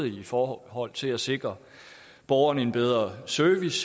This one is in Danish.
i forhold til at sikre borgerne en bedre service